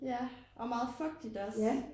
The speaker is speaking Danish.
Ja og meget fugtigt også